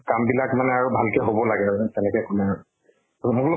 কাম বিলাক মানে আৰু ভালকে হব লাগে আৰু, তেনেকে কলে আৰু। মই বুলু